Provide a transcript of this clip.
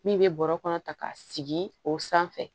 Min bɛ bɔrɔ kɔnɔ ta ka sigi o sanfɛ